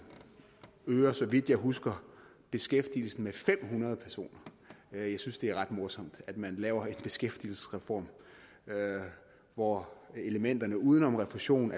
øger så vidt jeg husker beskæftigelsen med fem hundrede personer jeg synes det er ret morsomt at man laver en beskæftigelsesreform hvor elementerne uden om refusionen